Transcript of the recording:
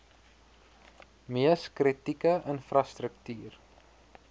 mees kritieke infrastruktuur